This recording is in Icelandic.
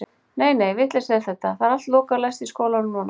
Nei, nei, vitleysa er þetta, það er allt lokað og læst í skólanum núna.